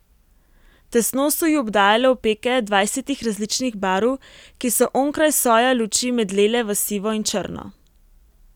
Tesno so ju obdajale opeke dvajsetih različnih barv, ki so onkraj soja luči medlele v sivo in črno.